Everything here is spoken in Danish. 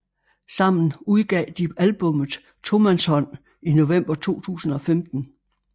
Sammen udgav de albummet Tomandshånd i november 2015